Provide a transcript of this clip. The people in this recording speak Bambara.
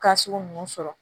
Ka sugu ninnu sɔrɔ